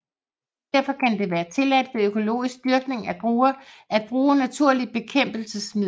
Derfor kan det være tilladt ved økologisk dyrkning af druer at bruge naturlige bekæmpelsesmidler